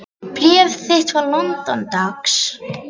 Bréf þitt frá London, dags.